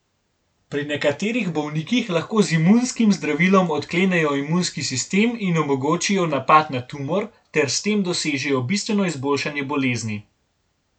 Pri nekaterih bolnikih lahko z imunskim zdravilom odklenejo imunski sistem in omogočijo napad na tumor ter s tem dosežejo bistveno izboljšanje bolezni.